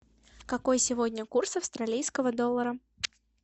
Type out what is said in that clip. какой сегодня курс австралийского доллара